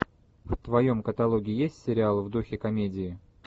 в твоем каталоге есть сериал в духе комедии